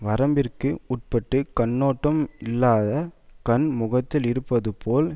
வரம்பிற்கு உட்பட்டு கண்ணோட்டம் இல்லாத கண் முகத்தில் இருப்பது போல்